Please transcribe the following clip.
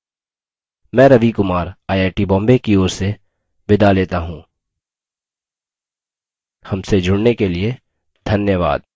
मैं Ravi Kumar I I T Bombay की ओर से विदा लेता हूँ हमसे जुड़ने के लिए धन्यवाद